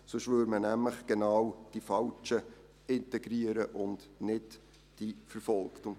Sonst würde man die Falschen integrieren, und nicht die Verfolgten.